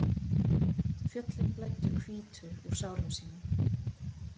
Fjöllin blæddu hvítu úr sárum sínum.